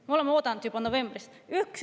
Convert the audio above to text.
Me oleme oodanud juba novembrist saadik.